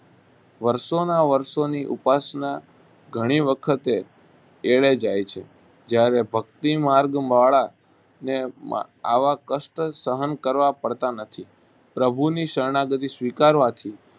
વર્ષોના વર્ષોની ઉપાસના ઘણી વખતે એળે જાય છે. જ્યારે ભક્તિ માર્ગવાળાને આવા કષ્ટ સહન કરવા પડતા નથી. પ્રભુની શરણાગતિ સ્વીકારવાથી